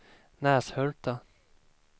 Näshulta